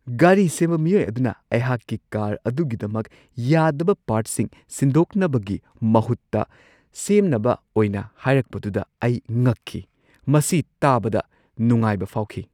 ꯒꯥꯔꯤ ꯁꯦꯝꯕ ꯃꯤꯑꯣꯏ ꯑꯗꯨꯅ ꯑꯩꯍꯥꯛꯀꯤ ꯀꯥꯔ ꯑꯗꯨꯒꯤꯗꯃꯛ ꯌꯥꯗꯕ ꯄꯥꯔꯠꯁꯤꯡ ꯁꯤꯟꯗꯣꯛꯅꯕꯒꯤ ꯃꯍꯨꯠꯇ ꯁꯦꯝꯅꯕ ꯑꯣꯏꯅ ꯍꯥꯏꯔꯛꯄꯗꯨꯗ ꯑꯩ ꯉꯛꯈꯤ ꯫ ꯃꯁꯤ ꯇꯥꯕꯗ ꯅꯨꯡꯉꯥꯏꯕ ꯐꯥꯎꯈꯤ ꯫